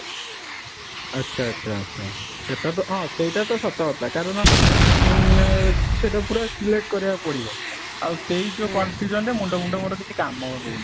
ଆଚ୍ଛା, ଆଚ୍ଛା ଆଚ୍ଛା, ସେଟା ତ ହଁ ସେଇଟା ତ ସତ କଥା କାରଣ ଉଁ ନଁ ସେଇଟା ପୁରା select କରିବାକୁ ପଡିବ ଆଉ ସେଇ ଯୋଉ confusion ରେ ମୁଣ୍ଡ ମୋର କିଛି କାମ ଦଉନି